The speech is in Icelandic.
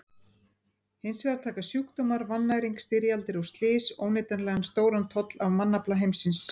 Hins vegar taka sjúkdómar, vannæring, styrjaldir og slys óneitanlega stóran toll af mannafla heimsins.